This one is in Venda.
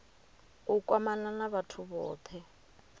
u kwamana na vhathu vhothe